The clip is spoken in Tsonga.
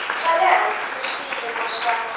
swa le hansi swiyimo swa